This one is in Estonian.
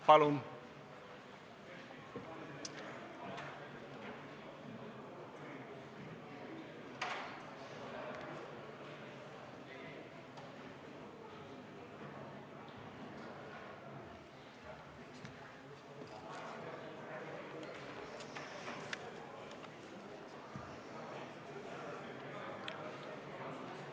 Palun!